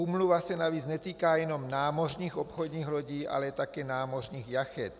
Úmluva se navíc netýká jenom námořních obchodních lodí, ale také námořních jachet.